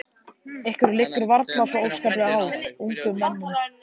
Ykkur liggur varla svo óskaplega á, ungum mönnunum.